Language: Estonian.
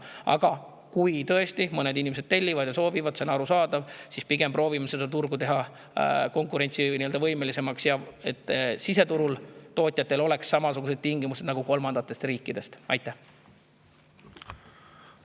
Aga kuna mõned inimesed tõesti soovivad tellida ja tellivad, see on arusaadav, siis pigem proovime teha turgu konkurentsivõimelisemaks, et siseturu tootjatel oleks samasugused tingimused nagu kolmandate riikide.